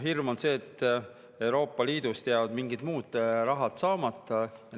Hirm on selles, et Euroopa Liidust jäävad mingid muud rahad saamata.